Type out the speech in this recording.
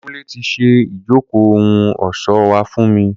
Kunle ti ṣe ijoko ohun ọṣọ wa fun mi.